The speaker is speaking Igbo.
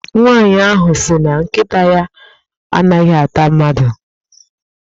Nwaanyị ahụ sị na nkịta ya a naghị ata mmadụ.